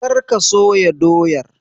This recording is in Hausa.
Kar ka soya doyar!